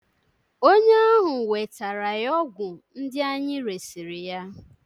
onye ahụ wetara ya ọgwụ ndị anyị resịrị ya